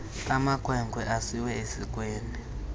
amakhwenkwe asiwe esikweni